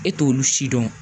E t'olu si dɔn